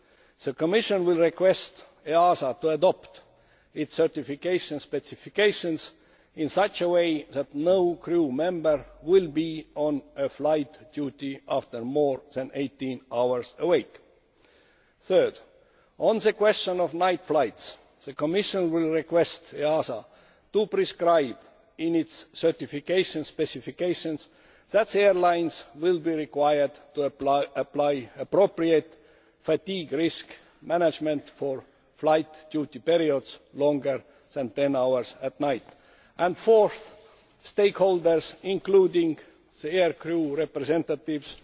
The Commission will request EASA to adopt its certification specifications in such a way that no crew member will be on flight duty after more than 18 hours awake. Third, on the question of night flights the Commission will request EASA to prescribe in its certification specifications that airlines will be required to apply appropriate fatigue risk management for flight duty periods longer than 10 hours at night. And fourth, stakeholders, including aircrew representatives,